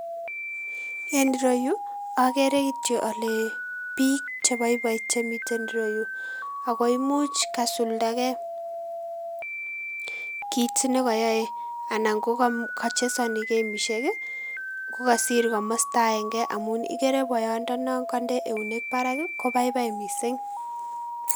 En ireyuu okeree kityok olee biik cheboiboi chemiten ireyuu, ak ko imuch kasuldake kiit nekoyoe anan kocheseno kemishek ko kasir kamosto akeng'e amun ikere boyondonon konde eunek barak kobaibai mising.